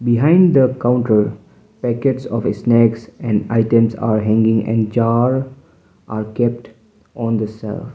behind the counter packets of snacks and items are hanging and jar are kept on the she.